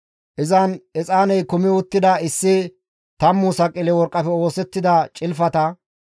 Izan exaaney kumi uttida issi tammu saqile worqqafe oosettida cilfata,